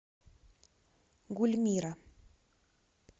гульмира